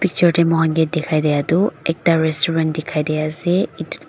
Picture dae mokhan ke dekhaidya tuh ekta restaurant dekhai de ase.